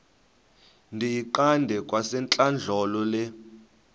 ndiyiqande kwasentlandlolo le